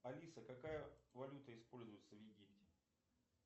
алиса какая валюта используется в египте